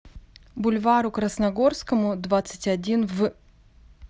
бульвару красногорскому двадцать один в